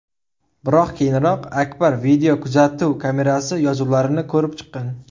Biroq keyinroq Akar videokuzatuv kamerasi yozuvlarini ko‘rib chiqqan.